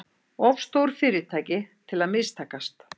Of stór fyrirtæki til að mistakast